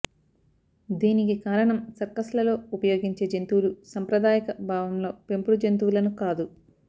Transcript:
దీనికి కారణం సర్కస్లలో ఉపయోగించే జంతువులు సంప్రదాయక భావంలో పెంపుడు జంతువులను కాదు